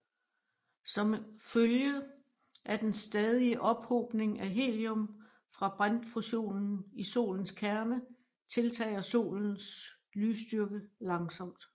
Som følge af den stadige ophobning af helium fra brintfusionen i Solens kerne tiltager Solens lysstyrke langsomt